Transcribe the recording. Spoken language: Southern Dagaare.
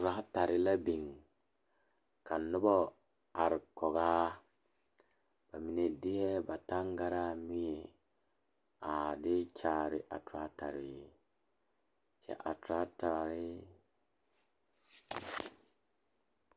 Tratara la biŋ ka noba are kɔŋ a bamine deɛ ba tangaare mire tratara kyɛ a tratare.